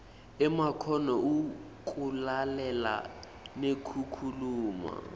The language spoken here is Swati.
emakhono ekulalela nekukhuluma